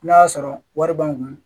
N'a y'a sɔrɔ wari b'an kun